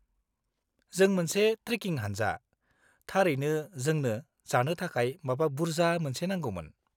जों मोनसे ट्रेकिं हानजा; थारैनो जोंनो जानो थाखाय माबा बुर्जा मोनसे नांगौमोन।